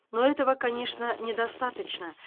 но этого конечно недостаточно